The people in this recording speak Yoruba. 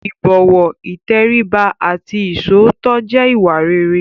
ìbọ̀wọ̀, ìtẹríba àti iṣòótọ́ jẹ́ ìwà rere.